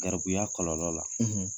Garibuya kɔlɔlɔ la